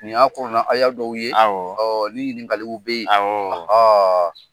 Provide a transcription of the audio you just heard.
Nin y'a kurana haya dɔw ye, awɔ ni ɲininkaliw be ye awɔɔ